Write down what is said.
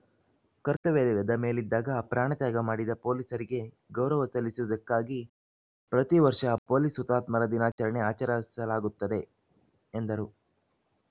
ಕರ್ತವ್ಯದ ಮೇಲಿದ್ದಾಗ ಪ್ರಾಣ ತ್ಯಾಗ ಮಾದಿದ ಪೊಲೀಸರಿಗೆ ಗೌರವ ಸಲ್ಲಿಸುವುದಕ್ಕಾಗಿ ಪ್ರತಿವರ್ಷ ಪೊಲೀಸ್‌ ಹುತಾತ್ಮರ ದಿನಾಚರಣೆ ಆಚರಿಸಲಾಗುತ್ತದೆ ಎಂದರು